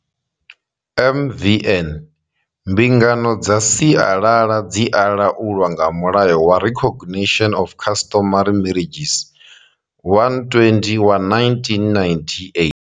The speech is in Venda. MVN. Mbingano dza sialala dzi a laulwa nga mulayo wa Recognition of Customary Marriages,120 wa 1998.